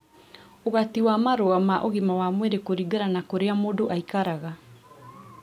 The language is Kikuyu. Ũgati wa marũa ma ũgima wa mwĩrĩ kũringana na kũrĩa mũndũ aikaraga